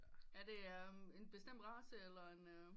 Er det en bestemt race eller en øh